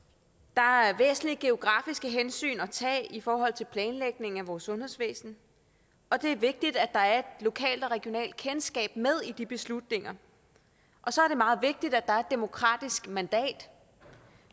der er væsentlige geografiske hensyn at tage i forhold til planlægningen af vores sundhedsvæsen og det er vigtigt at der er et lokalt og regionalt kendskab med i de beslutninger og så er det meget vigtigt at der er et demokratisk mandat